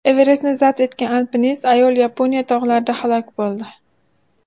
Everestni zabt etgan alpinist ayol Yaponiya tog‘larida halok bo‘ldi.